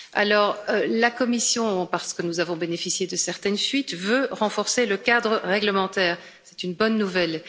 Alors la Commission parce que nous avons bénéficié de certaines fuites veut renforcer le cadre réglementaire, c'est une bonne nouvelle.